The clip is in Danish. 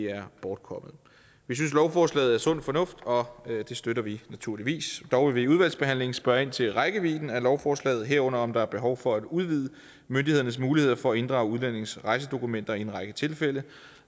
er bortkommet vi synes lovforslaget er sund fornuft og det støtter vi naturligvis dog vil vi i udvalgsbehandlingen spørge ind til rækkevidden af lovforslaget herunder om der er behov for at udvide myndighedernes muligheder for at inddrage udlændinges rejsedokumenter i en række tilfælde